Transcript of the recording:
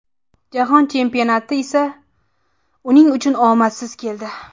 Jahon chempionati esa uning uchun omadsiz keldi.